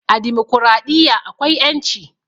A dimokuraɗiyya akwai ƴanci